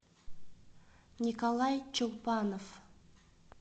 николай чулпанов